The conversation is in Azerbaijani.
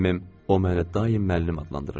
O mənə daim müəllim adlandırırdı.